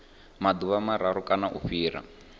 maḓuvha mararu kana u fhira